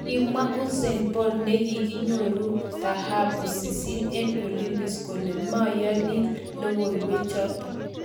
Kimwa Usain Bolt nekikonyir thahabu sisit eng Olympics kole meyoni logoiwechoto